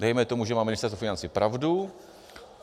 Dejme tomu, že má Ministerstvo financí pravdu.